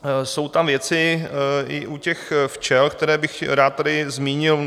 Jsou tam věci i u těch včel, které bych tady rád zmínil.